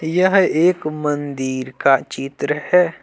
यह एक मंदिर का चित्र है।